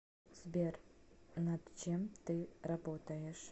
сбер над чем ты работаешь